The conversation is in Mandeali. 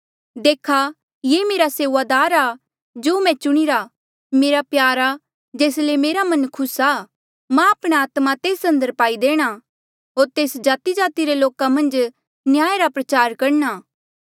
देखा ये मेरा सेऊआदार आ जो मैं चुणिरा मेरा प्यारा जेस ले मेरा मन खुस आ मां आपणा आत्मा तेस अंदर पाई देणा होर तेस जातिजाति रे लोका मन्झ न्याया रा प्रचार करणा